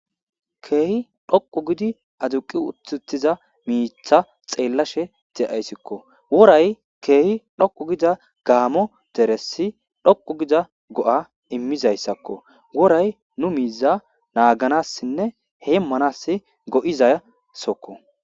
Keehi dhoqu gidi aduqi uthuttiza miitha xeellashe de7ayssikko woray keehi dhoqu gida gaamo deressi dhoqu gida go7a immizayssakko woray nu miiza naaganassinne heemmanas go7izaya sokko